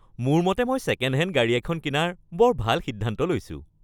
মোৰ মতে মই ছেকেণ্ড হেণ্ড গাড়ী এখন কিনাৰ বৰ ভাল সিদ্ধান্ত লৈছো।